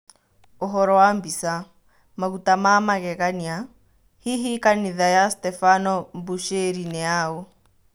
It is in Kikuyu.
ũhoro wa mbica, "Maguta ma-magegania" hihi kanitha ya Stebano Mbushĩri nĩyaũ?